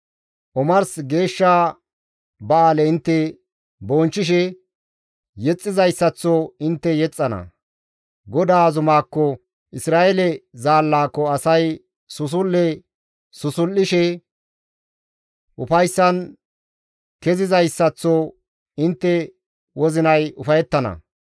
Omars geeshsha ba7aale intte bonchchishe yexxizayssaththo intte yexxana; GODAA zumaakko Isra7eele Zaallaako asay susul7e susul7ishe ufayssan kezizayssaththo intte wozinay ufayettana.